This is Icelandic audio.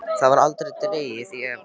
Það var aldrei dregið í efa.